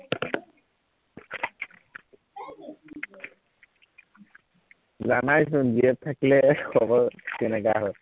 জানাই চোন GF থাকিলে খবৰ কেনেকুৱা হয়